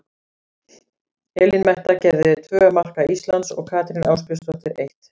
Elín Metta gerði tvö marka Íslands og Katrín Ásbjörnsdóttir eitt.